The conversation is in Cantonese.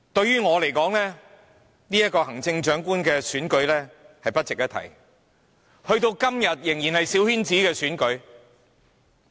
於我而言，行政長官的選舉根本不值一提，時至今日，仍然是一場小圈子選舉。